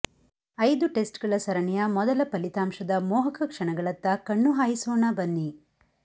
ಐದು ಟೆಸ್ಟ್ ಗಳ ಸರಣಿಯ ಮೊದಲ ಫಲಿತಾಂಶದ ಮೋಹಕ ಕ್ಷಣಗಳತ್ತ ಕಣ್ಣು ಹಾಯಿಸೋಣ ಬನ್ನಿ